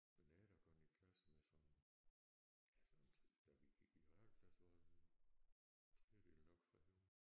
Men jeg har da gået i klasse med sådan ja sådan da vi gik i realklasse var en tredjedel nok fra Højer